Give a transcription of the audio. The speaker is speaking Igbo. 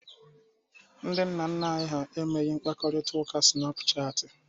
Ndị nna nna anyị emeghị mkparịta ụka snapuchat.